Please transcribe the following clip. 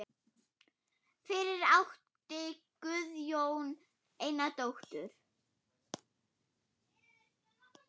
Fyrir átti Guðjón eina dóttur.